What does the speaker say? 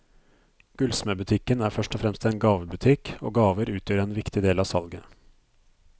Gullsmedbutikken er først og fremst en gavebutikk, og gaver utgjør en viktig del av salget.